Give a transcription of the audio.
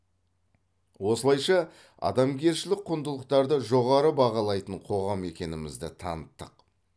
осылайша адамгершілік құндылықтарды жоғары бағалайтын қоғам екенімізді таныттық